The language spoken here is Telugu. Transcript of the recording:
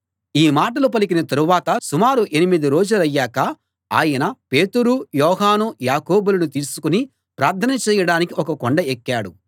ఈ మాటలు పలికిన తరువాత సుమారు ఎనిమిది రోజులయ్యాక ఆయన పేతురు యోహాను యాకోబులను తీసుకుని ప్రార్థన చేయడానికి ఒక కొండ ఎక్కాడు